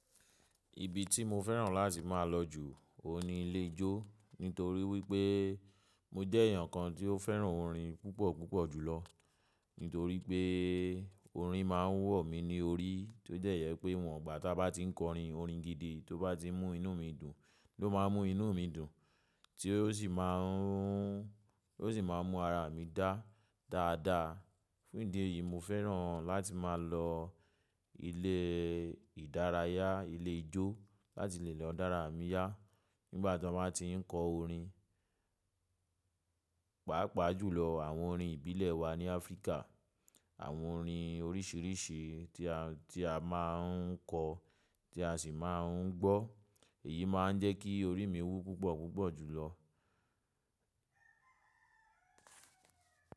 Ibi tí mo fẹ́ràn láti máa lọ jù, ó ní ilé ijó nítorí wípé mo jẹ́ èèyàn kan tí ó fẹ́ràn orin púpọ̀ jùlọ. Nítorí pé orin máa ń wò mí ní orí, tó dẹ̀ jẹ́ pé ìwọ̀ ìgbà tá bá ti ń kọrin, orin gidi tó bá ti mú inú mi dùn, ló ma mú inú mi dù, tí ó sì máa ń, ó sì mú ara mi dá dáadáa. Fún ìdí èyí, mo fẹ́ràn láti máa lọ ilé ìdárayá, ilé ijó láti lè lọ dára mi yá nígbà tí wọ́n bá ti ń kọ orin, pàápàá jùlọ àwọn orin ìbílẹ̀ wa ní Áfríkà. Àwọn orin oríṣìíríṣìí tí a, tí a máa ń kọ tí a sì máa ń gbọ́. Èyí máa ń jẹ́ kí orí mi wú púpọ̀ púpọ̀ jùlọ.